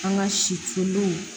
An ka siw